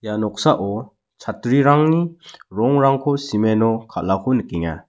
ia noksao chatrirangni rongrangko cement-o kalako nikenga.